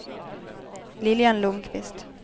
Lilian Lundquist